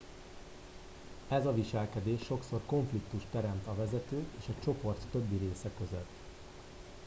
ez a viselkedés sokszor konfliktust teremt a vezetők és a csoport többi része között